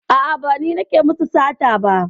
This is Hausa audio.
A'a, ba ni nake musu sata ba.